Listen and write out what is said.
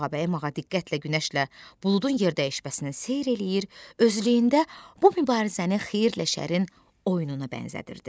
Ağabəyim ağa diqqətlə günəşlə buludun yerdəyişməsini seyr eləyir, özlüyündə bu mübarizəni xeyirlə şərin oyununa bənzədirdi.